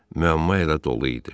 Müəmma elə dolu idi.